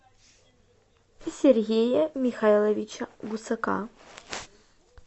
сергея михайловича гусака